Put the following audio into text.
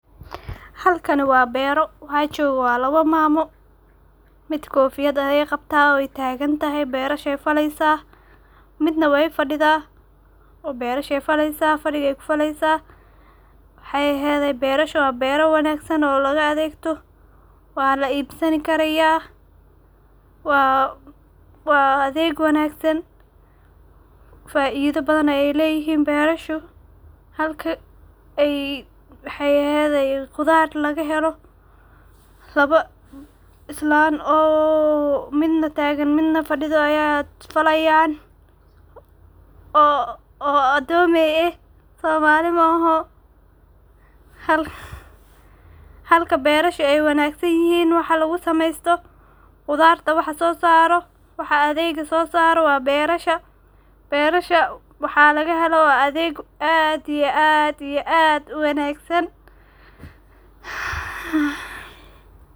Halkani waa beero waxa joga laba mamo mid kofiyad ayey qabta wey tagan tahay ,berashey falaleysa midna wey fadidha oo fadiga ku faleysa bero wanagsan oo laga adegto waa laibsanaya waa adeg wanagsan faido badan ayey leyihin berashu halka dahyahegu khudar laga helo oo islan oo islan midna tagan midna fadiso aya falayan oo adomey ah ,somali maoho. Halka berashu ay wanagsan yihin waxa lagu samesto khudarta waxa so saro ,waxa adega so saro waa berasha ,barasha adega laga helo waa wax aad iyo aad u wanagsan .